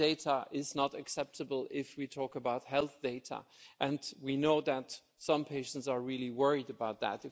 Selling data is not acceptable if we talk about health data, and we know that some patients are really worried about that.